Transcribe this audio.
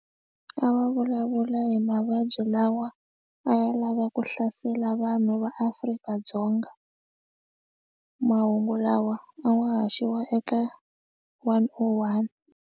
A va vulavula hi mavabyi lawa a ya lava ku hlasela vanhu va Afrika-Dzonga mahungu lawa a wa haxiwa eka one o one.